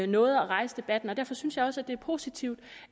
noget at rejse debatten derfor synes jeg også det er positivt